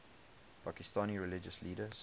pakistani religious leaders